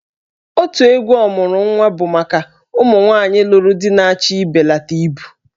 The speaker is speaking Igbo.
Otù egwu 'Ọmuru Nwa' bụ maka ụmụ nwaanyị lụrụ di na-achọ ịbelata ibu.